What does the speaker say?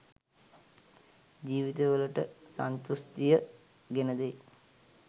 ජීවිතවලට සන්තෘෂ්ඨිය ගෙන දෙයි.